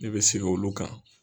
Ne bɛ sigin olu kan.